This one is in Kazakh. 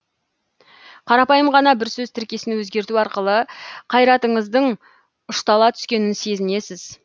қарапайым ғана бір сөз тіркесін өзгерту арқылы қайратыңыздың ұштала түскенін сезінесіз